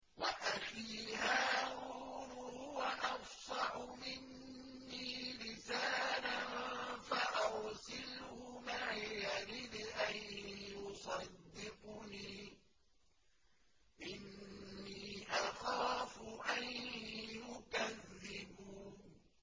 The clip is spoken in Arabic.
وَأَخِي هَارُونُ هُوَ أَفْصَحُ مِنِّي لِسَانًا فَأَرْسِلْهُ مَعِيَ رِدْءًا يُصَدِّقُنِي ۖ إِنِّي أَخَافُ أَن يُكَذِّبُونِ